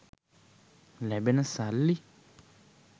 ලැබෙන සල්ලි